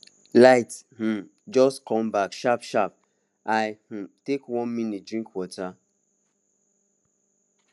light um just come back sharpsharp i um take one moment drink water